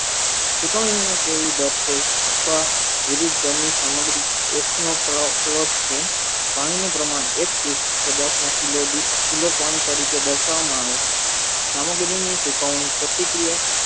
અથવા વિવિધ ઘરની સામગ્રી નો પાણીનું પ્રમાણ એક પદાર્થમાં તરીકે દર્શાવા મા આવે છે સામગ્રીની પ્રતિક્રિયા